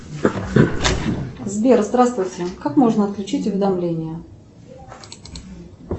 сбер здравствуйте как можно отключить уведомления